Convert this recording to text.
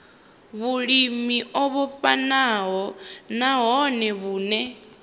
vhulimi o vhofhanaho nahone vhune